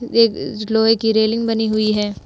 एक लोहे की रेलिंग बनी हुई हैं।